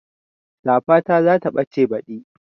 Safata za ta ɓace baɗi